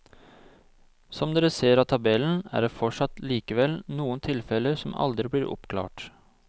Som dere ser av tabellen er det fortsatt likevel noen tilfeller som aldri blir oppklart.